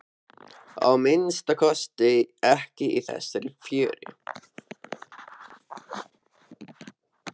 Að minnsta kosti ekki í þessari fjöru.